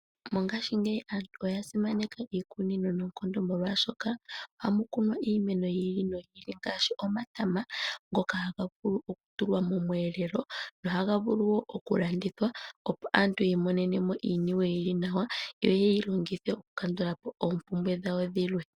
Mongashingeyi aantu oya simaneka iikunino noonkondo molwashoka ohamu kunwa iimeno yi ili noyi ili ngaashi omatama ngoka haga vulu oku tulwa momweelelo. Ohaga vulu wo oku landithwa opo aantu yiimonene mo iiniwe yili nawa yo yeyi longithe oku kandulapo oompumbwe dhawo dhilwe.